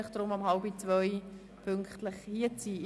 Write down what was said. Bitte erscheinen Sie pünktlich um 13.30 Uhr.